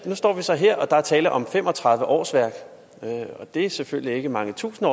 står vi så her og der er tale om fem og tredive årsværk det er selvfølgelig ikke mange tusinde